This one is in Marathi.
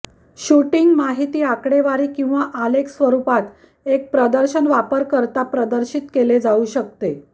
शूटिंग माहिती आकडेवारी किंवा आलेख स्वरूपात एक प्रदर्शन वापरकर्ता प्रदर्शित केले जाऊ शकते